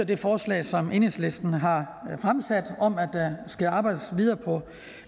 det forslag som enhedslisten har fremsat om at der skal arbejdes videre på